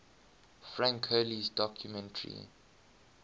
frank hurley's documentary